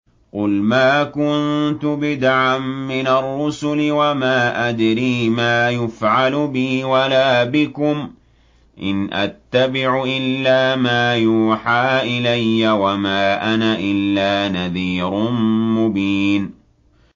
قُلْ مَا كُنتُ بِدْعًا مِّنَ الرُّسُلِ وَمَا أَدْرِي مَا يُفْعَلُ بِي وَلَا بِكُمْ ۖ إِنْ أَتَّبِعُ إِلَّا مَا يُوحَىٰ إِلَيَّ وَمَا أَنَا إِلَّا نَذِيرٌ مُّبِينٌ